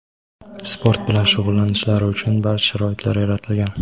sport bilan shug‘ullanishlari uchun barcha sharoitlar yaratilgan;.